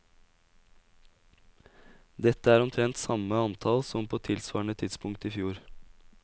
Dette er omtrent samme antall som på tilsvarende tidspunkt i fjor.